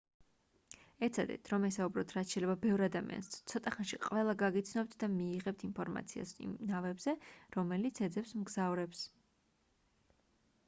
ეცადეთ რომ ესაუბროთ რაც შეიძლება ბევრ ადამიანს ცოტა ხანში ყველა გაგიცნობთ და მიიღებთ ინფორმაციას იმ ნავებზე რომელიც ეძებს მგზავრებს